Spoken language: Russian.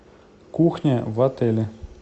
кухня в отеле